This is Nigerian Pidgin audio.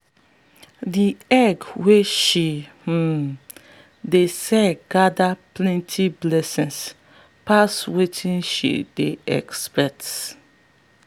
the egg wey she um dey sell gather plenty blessings pass wetin she dey expect.